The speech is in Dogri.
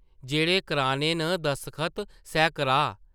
जेह्ड़े कराने न दस्खत, सै कराऽ ।